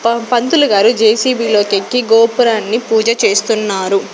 ప పంతులుగారు జె_సి_బి లోకెక్కి గోపురాన్ని పూజ చేస్తున్నారు.